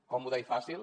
còmode i fàcil